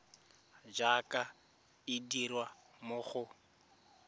jaaka e dirwa mo go